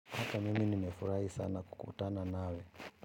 Hata mimi nimefurahi sana kukutana nawe.